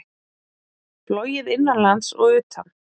Flogið innanlands og utan